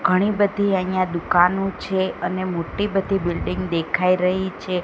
ઘણી બધી અહ્યા દુકાનો છે અને મોટી બધી બિલ્ડીંગ દેખાય રહી છે.